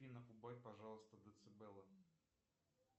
афина убавь пожалуйста децибелы